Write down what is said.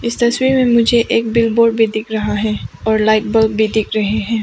इस तस्वीर में मुझे एक बिग बोर्ड भी दिख रहा है और लाइट बल्ब भी दिख रहे है।